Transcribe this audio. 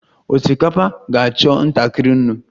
Osikapa ga-achọ ntakịrị nnu